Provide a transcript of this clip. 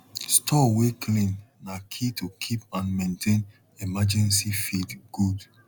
store way clean na key to keep and maintain emergency feed good